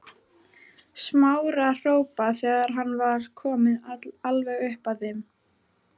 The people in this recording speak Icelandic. Smára hrópa þegar hann var kominn alveg upp að þeim.